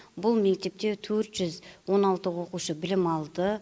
бұл мектепте төрт жүз он алты оқушы білім алды